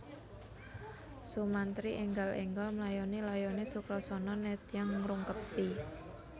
Sumantri enggal enggal mlayoni layone Sukrasana nedya ngrungkebi